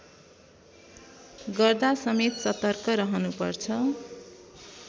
गर्दासमेत सतर्क रहनुपर्छ